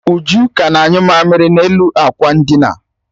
Uju ka na-anyụ mamiri n'elu akwa ndina